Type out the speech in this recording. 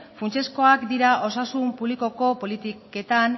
funtsezko dira osasun publikoko politiketan